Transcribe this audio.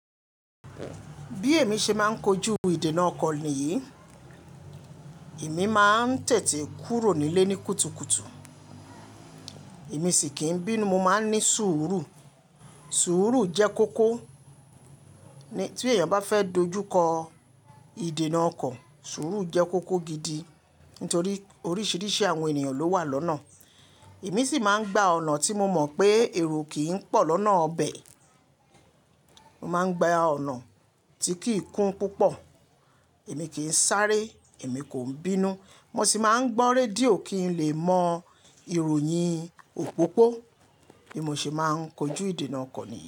Bí èmi ṣe máa ń kojú ìdènà ọkọ̀ nìyí, èmi máa ń tètè kúrò nílé ní kùtùkùtù. Èmi sì kì ń bínú, mo máa ń ní sùúrù. Sùúrù jẹ́ kókó, tí èèyàn bá fẹ́ dojú kọ ìdènà ọkọ̀, sùúrù jẹ́ kókó gidi. Nítorí oríṣiríṣi àwọn ènìyàn ló wà lọ́nà. Èmi sì máa ń gba ọ̀nà tí mo mọ̀ pé èrò kì ń pọ̀ lọ́nà ọbẹ̀. Mo máa ń gba ọ̀nà tí kì í kún púpọ̀. Èmi kì ń sáré, èmi kò ń bínú. Mo sì máa ń gbọ́ rédíò kí n lè mọ ìròyìn òpópó bí mo ṣe máa ń kojú ìdènà ọkọ̀ nìyí.